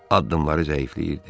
Addımları zəifləyirdi.